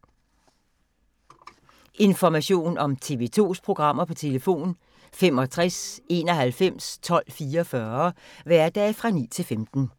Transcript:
Information om TV 2's programmer: 65 91 12 44, hverdage 9-15.